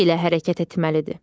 Səki ilə hərəkət etməlidir.